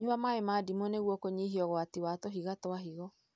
Nyua maĩ ma ndimũ nĩguo kũnyihia ũgwati wa tũhiga twa higo.